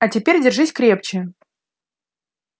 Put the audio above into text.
а теперь держись крепче